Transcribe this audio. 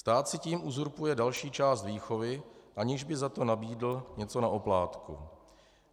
Stát si tím uzurpuje další část výchovy, aniž by za to nabídl něco na oplátku.